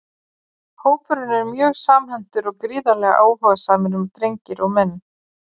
Aðeins vantar kappanum mark í evrópska ofurbikarnum.